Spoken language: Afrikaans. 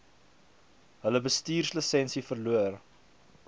hulle bestuurslisensie verloor